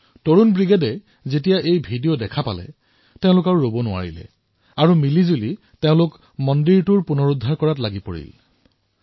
যুৱ ব্ৰিগেডে এই ভিডিঅ ছচিয়েল মিডিয়াত প্ৰত্যক্ষ কৰি একত্ৰিতভাৱে এই মন্দিৰৰ জীৰ্ণোদ্ধাৰ কৰাৰ সিদ্ধান্ত গ্ৰহণ কৰিলে